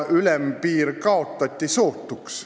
Ülempiir kaotati sootuks.